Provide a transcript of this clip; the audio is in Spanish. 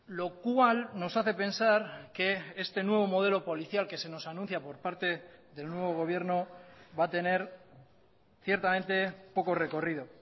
lo cual nos hace pensar que este nuevo modelo policial que se nos anuncia por parte del nuevo gobierno va a tener ciertamente poco recorrido